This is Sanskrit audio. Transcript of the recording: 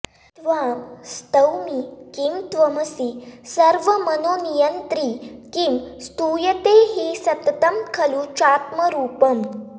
त्वां स्तौमि किं त्वमसि सर्वमनोनियन्त्री किं स्तूयते हि सततं खलु चात्मरूपम्